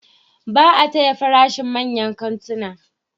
Ba a taya farashin manyan kantuna.